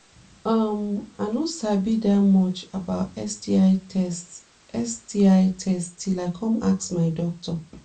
um i no sabi that much about sti test sti test till i come ask my doctor